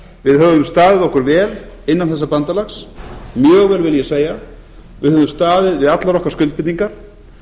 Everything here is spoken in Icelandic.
við höfum staðið okkur vel innan þessa bandalags mjög vel vil ég segja við höfum staðið við allar okkar skuldbindingar